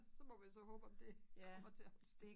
Så må vi så håbe at det kommer til at holde stik